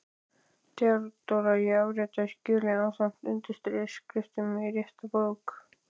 THEODÓRA: Ég afritaði skjölin ásamt undirskriftum í rétta bók.